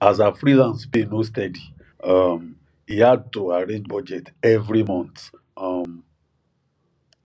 as her freelance pay no steady um e hard to arrange budget every month um